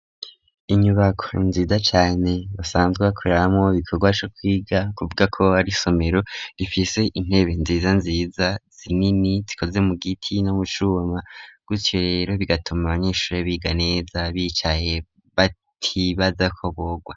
Inyubako nziza cane basanzwe koreramwo bikorwa co kwiga kuvuga ko ari isomero rifise intebe nziza nziza zinini, zikoze mu giti no mu cuma gutyo rero bigatuma abanyeshuri biga neza bicaye batibaza ko bogwa.